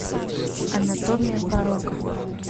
анатомия порока